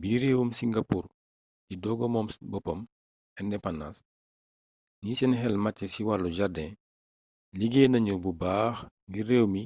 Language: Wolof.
bi réewum singapour di sooga moom boppam indépendance ñi seen xel màcci ci wàll jardin liggéey nañu bu baax ngir réew mi